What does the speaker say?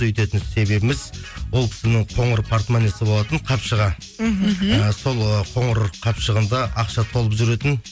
өйтетін себебіміз ол кісінің қоңыр портмонесі болатын қапшыға мхм і сол і коңыр қапшығында ақша толып жүретін